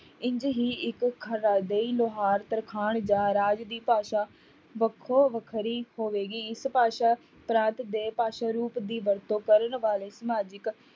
ਇੰਞ ਹੀ ਇੱਕ ਲੁਹਾਰ, ਤਰਖਾਣ ਜਾਂ ਰਾਜ ਦੀ ਭਾਸ਼ਾ ਵੱਖੋ ਵੱਖਰੀ ਹੋਵੇਗੀ, ਇਸ ਭਾਸ਼ਾ ਪ੍ਰਾਂਤ ਦੇ ਭਾਸ਼ਾ ਰੂਪ ਦੀ ਵਰਤੋਂ ਕਰਨ ਵਾਲੇ ਸਮਾਜਿਕ